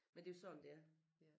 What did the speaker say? Men det er jo sådan det er